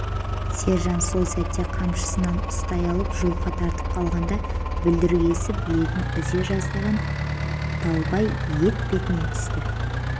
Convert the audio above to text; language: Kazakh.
сержан сол сәтте қамшысынан ұстай алып жұлқа тартып қалғанда бұлдіргесі білегін үзе жаздаған далбай етпетінен түсті